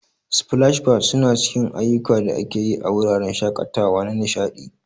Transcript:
Splash pads suna cikin ayukan da ake yi a wuraren shakatawa na nishadi.